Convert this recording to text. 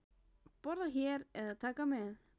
Borða hér eða taka með?